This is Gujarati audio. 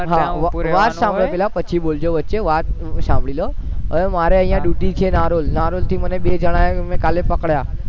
તમારે ત્યાં ઉભું રહેવાનું હોય વાત સાંભળો પછી બોલજો વચ્ચે વાત સાંભળી લો હવે મારે duty છે નારોલ નારોલ થી મેં બે જણાને મેં કાલે પકડ્યા